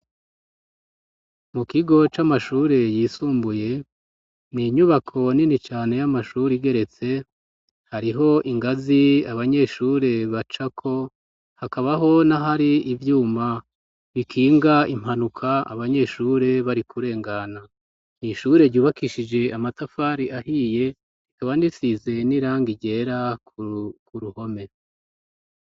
Mu kigo c'amashure yisumbuye, n'inyubako nini cane y'amashuri igeretse, hariho ingazi abanyeshure bacako, hakabaho nahari ivyuma bikinga impanuka abanyeshure bari kurengana, n'ishure ryubakishije amatafari ahiye rikaba risize n'irangi ryera ku ruhome.